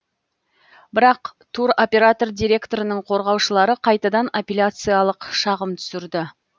бірақ туроператор директорының қорғаушылары қайтадан аппеляциялық шағым түсірді